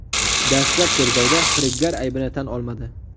Dastlab tergovda firibgar aybini tan olmadi.